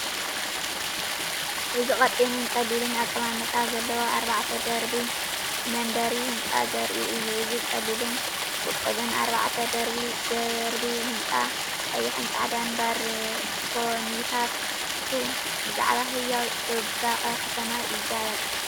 እዚ ቀጢንን ቀሊልን ኣቀማምጣ ዘለዎ ኣርባዕተ ደርቢ መንበሪ ህንጻ ዘርኢ እዩ። እዚ ቀሊልን ውቁብን ኣርባዕተ ደርቢ ህንጻ፡ ቀይሕን ጻዕዳን ባርኮኒታቱ ብዛዕባ ህያው ጽባቐ ከተማ ይዛረብ።